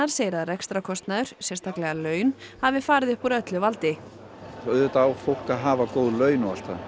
segir að rekstarkostnaður sérstaklega laun hafi farið upp úr öllu valdi auðvitað á fólk að hafa góð laun